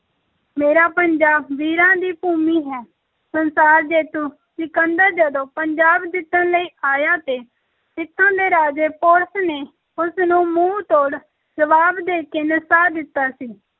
ਮੇਰਾ ਪੰਜਾਬ ਵੀਰਾਂ ਦੀ ਭੂਮੀ ਹੈ, ਸੰਸਾਰ ਜੇਤੂ ਸਿਕੰਦਰ ਜਦੋਂ ਪੰਜਾਬ ਜਿੱਤਣ ਲਈ ਆਇਆ ਤੇ ਇੱਥੋਂ ਦੇ ਰਾਜੇ ਪੋਰਸ ਨੇ ਉਸ ਨੂੰ ਮੂੰਹ ਤੋੜ ਜਵਾਬ ਦੇ ਕੇ ਨਸਾ ਦਿੱਤਾ ਸੀ।